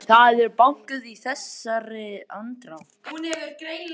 Það er bankað í þessari andrá.